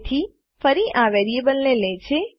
તેથી ફરી આ વેરીએબલ ને લે છે